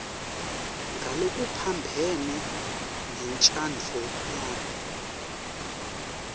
ngalokuphambene nentsandvo yakho